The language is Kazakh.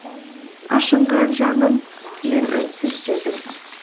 ашынған жаным мен үнсіз дедім